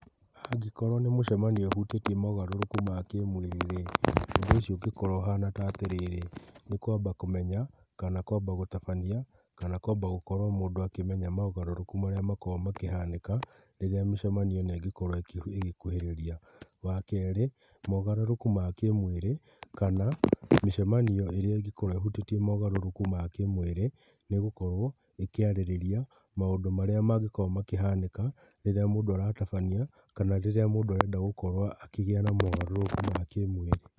Angĩkorwo nĩ mũcamanio ũhutĩtie mogarũrũku ma kĩmwĩrĩ, ũndũ ũcio ũngĩkorwo ũhana ta atĩrĩrĩ, nĩ kwamba kũmenya, kana kwamba gũtabania, kana kwamba gũkorwo mũndũ akĩmenya mogarũrũku marĩa makoragwo makĩhanĩka rĩrĩa mĩcemanio ĩno ĩngĩkorwo ĩgĩkuhĩrĩria. Wa kerĩ, mogarũrũku ma kĩmwĩrĩ, kana mĩcemanio ĩrĩa ĩngĩkorwo ĩhutĩtie mogarũrũku ma kĩmwĩrĩ nĩ gũkorwo ĩkĩarĩrĩria maũndũ marĩa mangĩkorwo makĩhanĩka rĩrĩa mũndũ aratabania kana rĩrĩa mũndũ arenda gũkorwo akĩgĩa na mogarũrũku ma kĩmwĩrĩ.